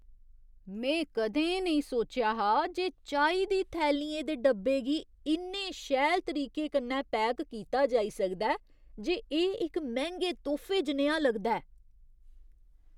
में कदें नेईं सोचेआ हा जे चाही दी थैलियें दे डब्बे गी इन्ने शैल तरीके कन्नै पैक कीता जाई सकदा ऐ जे एह् इक मैंह्‌गे तोह्फे जनेहा लगदा ऐ।